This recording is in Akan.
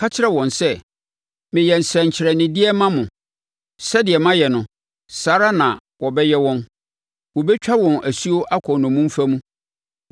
Ka kyerɛ wɔn sɛ, ‘Meyɛ nsɛnkyerɛnnedeɛ ma mo.’ “Sɛdeɛ mayɛ no, saa ara na wɔbɛyɛ wɔn. Wɔbɛtwa wɔn asuo akɔ nnommumfa mu.